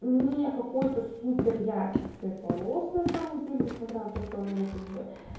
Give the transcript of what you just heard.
не какой-то супер яркий цвет волос на самом деле несмотря на то что он у меня как бы